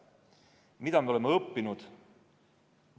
Mida me oleme õppinud?